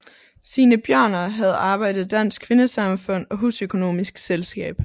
Signe Bjørner havde arbejdet i Dansk Kvindesamfund og Husøkonomisk selskab